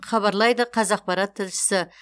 хабарлайды қазақпарат тілшісі